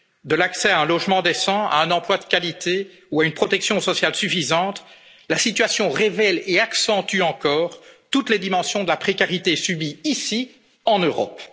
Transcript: numérique, de l'accès à un logement décent, à un emploi de qualité ou à une protection sociale suffisante, la situation révèle et accentue encore toutes les dimensions de la précarité subie ici,